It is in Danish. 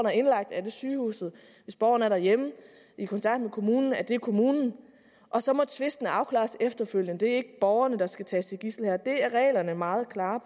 er indlagt er det sygehuset hvis borgeren er derhjemme i kontakt med kommunen er det kommunen og så må tvisten afklares efterfølgende det er ikke borgerne der skal tages som gidsel her det er reglerne meget klare